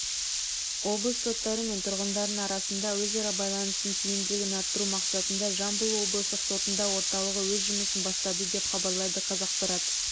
облыс соттары мен тұрғындарының арасында өзара байланысының тиімділігін арттыру мақсатында жамбыл облыстық сотында орталығы өз жұмысын бастады деп хабарлайды қазақпарат